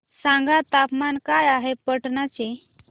सांगा तापमान काय आहे पाटणा चे